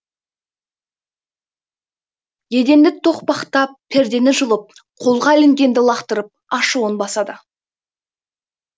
еденді тоқпақтап пердені жұлып қолға ілінгенді лақтырып ашуын басады